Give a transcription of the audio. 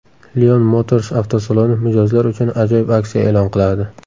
Lion Motors avtosaloni mijozlar uchun ajoyib aksiya e’lon qiladi.